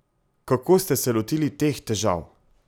Kako ste se lotili teh težav?